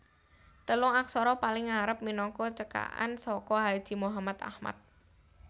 Telung aksara paling ngarep minangka cekakan saka Haji Muhammad Ahmad